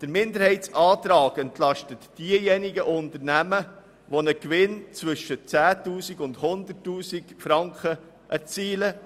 Dieser Minderheitsantrag entlastet diejenigen Unternehmen, die einen Gewinn zwischen 10 000 und 100 000 Franken erzielen.